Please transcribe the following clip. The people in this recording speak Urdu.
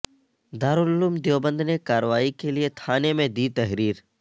دارالعلوم دیوبند نے کارروائی کے لئے تھانہ میں دی تحریر